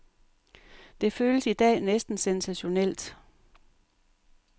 Det føles i dag næsten sensationelt.